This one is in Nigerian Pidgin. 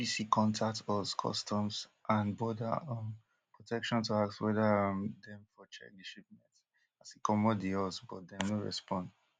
di bbc contact us customs and border um protection to ask weda um dem for check di shipment as e comot di us but dem no respond